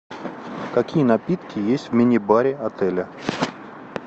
какие напитки есть в мини баре отеля